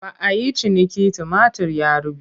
Ba a yi ciniki tumatir ya ruɓe.